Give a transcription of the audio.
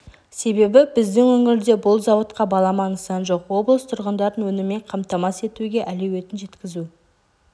себебі біздің өңірде бұл зауытқа балама нысан жоқ облыс тұрғындарын өніммен қамтамасыз етуге әлеуетін жеткізу